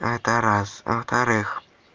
это раз а во-вторых